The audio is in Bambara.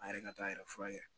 An yɛrɛ ka to a yɛrɛ furakɛ